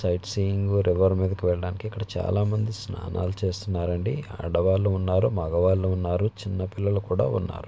Sight seeing గు river మీదకి వెళ్లడానికి ఇక్కడ చాలా మంది స్థానాలు చేస్తుతున్నారు అండి ఆడవాళ్లు ఉన్నారు మొగాళ్లు ఉన్నారు చిన్న పిల్లలు కూడా ఉన్నారు.